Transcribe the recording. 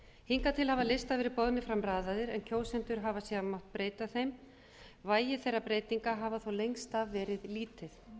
hingað til hafa listar verið boðnir fram raðaðir en kjósendur hafa síðan mátt breyta þeim vægi þeirra breytinga hafa þó lengst af verið lítið